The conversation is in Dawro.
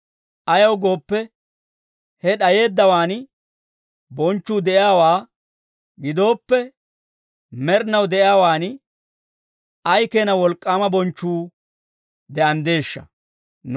Ayaw gooppe, he d'ayeeddawan bonchchuu de'iyaawaa gidooppe, med'inaw de'iyaawaan ay keenaa wolk'k'aama bonchchuu de'anddeeshsha?